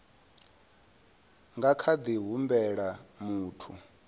nga kha ḓi humbela muthu